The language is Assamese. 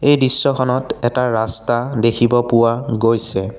এই দৃশ্যখনত এটা ৰাস্তা দেখিব পোৱা গৈছে।